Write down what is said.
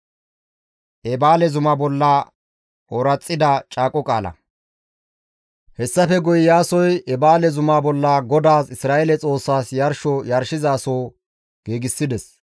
Hessafe guye Iyaasoy Eebaale zuma bolla GODAAS Isra7eele Xoossaas yarsho yarshizasoho giigsides.